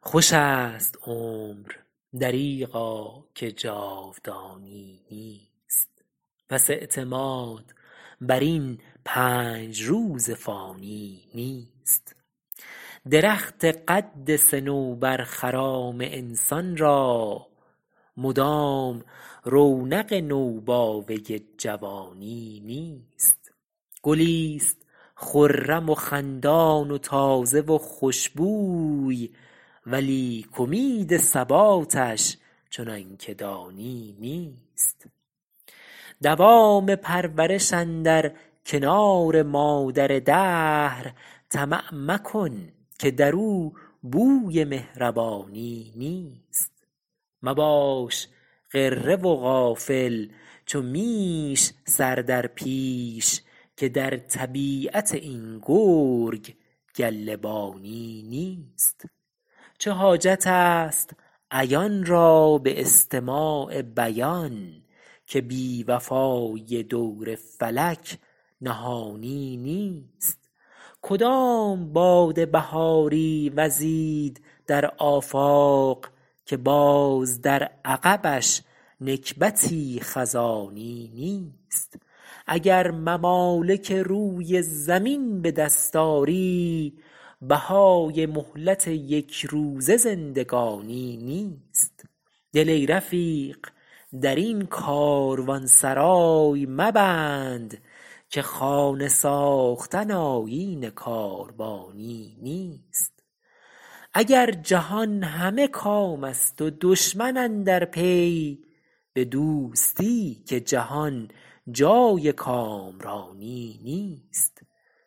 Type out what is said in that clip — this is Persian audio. خوش است عمر دریغا که جاودانی نیست پس اعتماد بر این پنج روز فانی نیست درخت قد صنوبر خرام انسان را مدام رونق نوباوه جوانی نیست گلیست خرم و خندان و تازه و خوشبوی ولیک امید ثباتش چنان که دانی نیست دوام پرورش اندر کنار مادر دهر طمع مکن که در او بوی مهربانی نیست مباش غره و غافل چو میش سر در پیش که در طبیعت این گرگ گله بانی نیست چه حاجت است عیان را به استماع بیان که بی وفایی دور فلک نهانی نیست کدام باد بهاری وزید در آفاق که باز در عقبش نکبتی خزانی نیست اگر ممالک روی زمین به دست آری بهای مهلت یک روزه زندگانی نیست دل ای رفیق در این کاروانسرای مبند که خانه ساختن آیین کاروانی نیست اگر جهان همه کام است و دشمن اندر پی به دوستی که جهان جای کامرانی نیست